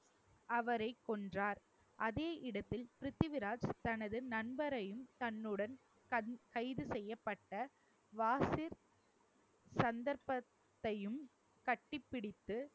அவரைக் கொன்றார் அதே இடத்தில் பிருத்திவிராஜ் தனது நண்பரையும் தன்னுடன் கண் கைது செய்யப்பட்ட சந்தர்ப்பத்தையும் கட்டிப்பிடித்து